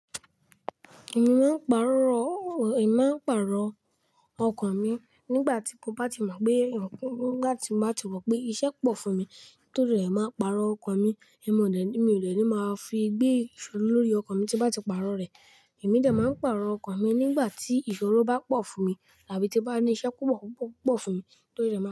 Èmi máa pàrọ̀, èmi máa ń pàrọ̀ ọkan mi nígbàtí mo bá ti mọ̀ pé, nígbàti mo bá ti mọ̀ pé iṣẹ́ pọ̀ fún mi, torí ẹ máa pàrọ̀ ọkan mi ẹ̀mi ọ̀ dẹ̀ ní, mi ò dẹ̀ ní lè máa fi gbé ìṣó lórí ọkan mi tí nbá ti pàrọ̀ rẹ̀. Èmi dẹ̀ máa ń pàrọ̀ ọkan mi nígbàtí ìṣòro bá pọ̀ fún mi tàbí tí n bá níṣẹ́ púpọ̀ fún mi.